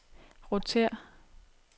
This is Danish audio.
rotér